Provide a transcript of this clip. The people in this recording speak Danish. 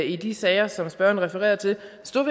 i de sager som spørgeren refererer til